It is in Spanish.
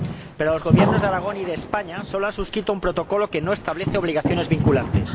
Pero los Gobiernos de Aragón y de España solo han suscrito un protocolo que no establece obligaciones vinculantes.